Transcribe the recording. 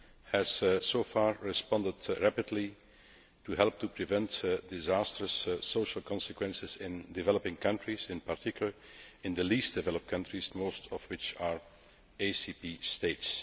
has so far responded rapidly to help prevent disastrous social consequences in developing countries, in particular in the least developed countries, most of which are ACP states.